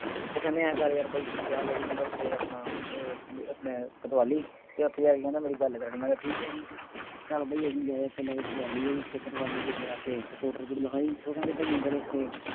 ਉਹ ਕਹਿੰਦੇ ਆਂਏਂ ਕਰ ਯਾਰ ਬਾਈ ਤੂੰ ਜਾ ਲਵੀ ਕਹਿੰਦਾ ਉੱਥੇ ਆਪਣਾ ਅਹ ਜਿਹੜਾ ਆਪਣਾ ਕੋਤਵਾਲੀ ਅਤੇ ਉੱਥੇ ਜਾ ਕੇ ਕਹਿੰਦਾ ਮੇਰੀ ਗੱਲ ਕਰਾਂ ਦੇਈਂ। ਮੈਂ ਕਿਹਾ ਠੀਕ ਹੈ ਜੀ, ਚੱਲ ਬਈ ਅਸੀਂ ਗਏ ਉੱਥੇ ਕੋਤਵਾਲੀ ਚ ਜਾ ਕੇ ਰਿਪਰੋਟ ਰਿਪੂਰਟ ਲਿਖਾਈ, ਉਹ ਕਹਿੰਦੇ ਭਾਈ ਆਂਏਂ ਕਰੋ ਉੱਥੇ